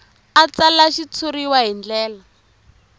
a tsala xitshuriwa hi ndlela